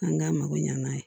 An k'an mako ɲɛna